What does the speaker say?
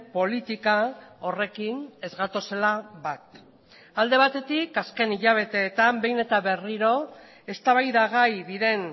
politika horrekin ez gatozela bat alde batetik azken hilabeteetan behin eta berriro eztabaidagai diren